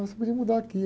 Ó, você podia mudar aqui.